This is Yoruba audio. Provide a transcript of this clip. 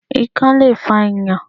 Ikán le fa Ìyàn.